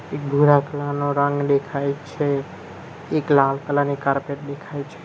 એક ભૂરા કલર નો રંગ દેખાય છે એક લાલ કલર ની કાર્પેટ દેખાય છ --